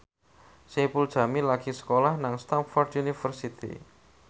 Saipul Jamil lagi sekolah nang Stamford University